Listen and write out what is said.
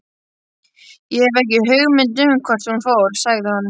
Ég hef ekki hugmynd um hvert hún fór, sagði hann.